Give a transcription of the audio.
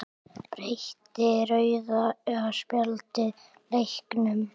Breytti rauða spjaldið leiknum?